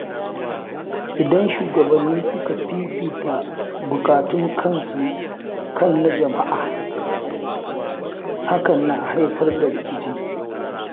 Idan shugabanni suka fifita bukatun kansu kan na jama’a, hakan na haifar da rikici.